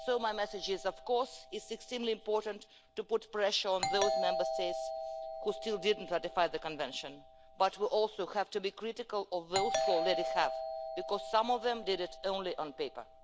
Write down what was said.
So my message is of course it is extremely important to put pressure on those Member States which have still not ratified the Convention, but we also have to be critical of those that already have, because some of them did it only on paper.